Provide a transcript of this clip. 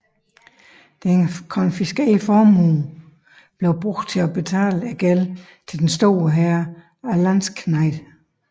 Den konfiskerede formue blev brugt til at betale gælden til den store hær af landsknægte